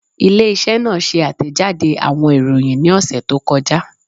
Ile-iṣẹ naa ṣe atẹjade awọn iroyin ni ọsẹ to kọja